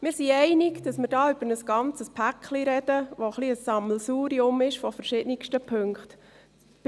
Wir gehen darin einig, dass wir da über ein ganzes Paket sprechen, das ein wenig ein Sammelsurium von verschiedensten Punkten ist.